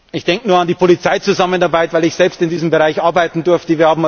Ich denke nur an die Polizeizusammenarbeit, weil ich selbst in diesem Bereich arbeiten durfte.